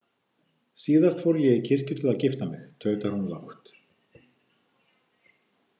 Síðast fór ég í kirkju til að gifta mig, tautar hún lágt.